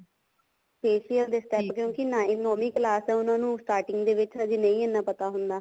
facial ਦੇ step ਕਿਉਂਕਿ ਨੋਵੀਂ ਕਲਾਸ ਆ ਉਹਨਾ ਨੂੰ starting ਦੇ ਵਿੱਚ ਹਜੇ ਨਹੀਂ ਇੰਨਾ ਪਤਾ ਹੁੰਦਾ